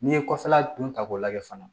N'i ye kɔfɛla dun ta k'o lajɛ fana